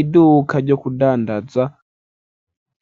iduka ryo kudandaza